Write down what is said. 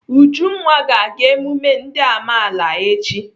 Ujunwa ga-aga emume ndị amaala echi..